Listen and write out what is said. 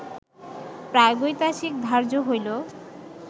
প্রাগৈতিহাসিক ধার্য হইল